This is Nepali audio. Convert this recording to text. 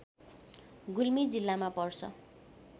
गुल्मी जिल्लामा पर्छ